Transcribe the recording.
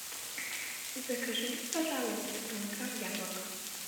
закажи мне пожалуйста килограмм яблок